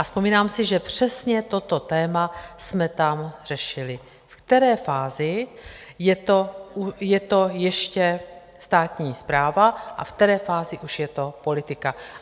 A vzpomínám si, že přesně toto téma jsme tam řešili - v které fázi je to ještě státní správa a v které fázi už je to politika.